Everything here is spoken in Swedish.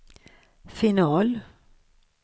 final